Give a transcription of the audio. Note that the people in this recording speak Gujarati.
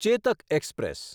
ચેતક એક્સપ્રેસ